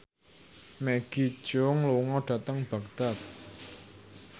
Maggie Cheung lunga dhateng Baghdad